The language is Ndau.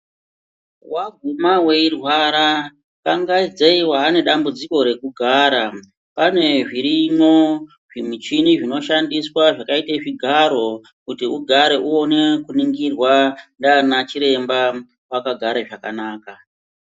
Waguma weirwara dangaidzei waane dambudziko rekugara pane zvirimwo zvimichini zvinoshandiswa zvakaita zvigaro kuti ugare uone kuningirwa ndaanachiremba akagare zvakanaka.